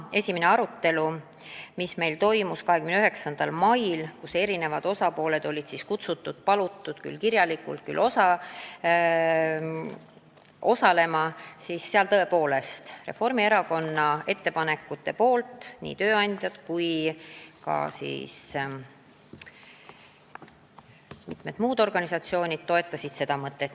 Esimesel arutelul, mis toimus 29. mail ja kuhu olid kohale palutud erinevad osapooled, toetasid Reformierakonna ettepanekuid nii tööandjad kui ka mitmed muud organisatsioonid.